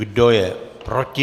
Kdo je proti?